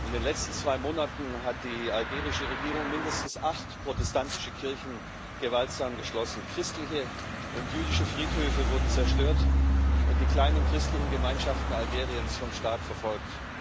In den letzten zwei Monaten hat die algerische Regierung mindestens acht protestantische Kirchen gewaltsam geschlossen, christliche und jüdische Friedhöfe wurden zerstört, und die kleinen christlichen Gemeinschaften Algeriens werden vom Staat verfolgt.